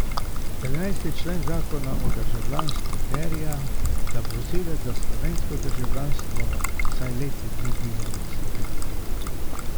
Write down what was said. Trinajsti člen zakona o državljanstvu terja, da prosilec za slovensko državljanstvo vsaj leto dni biva v Sloveniji.